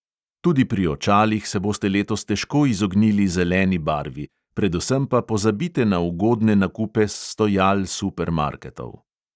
Tudi pri očalih se boste letos težko izognili zeleni barvi, predvsem pa pozabite na ugodne nakupe s stojal supermarketov.